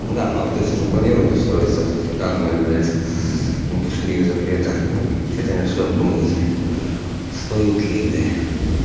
да ну кто-то если запланирует устроиться в данную блядь сс индустрию запрета с этим и всё обдумывается стоит ли бля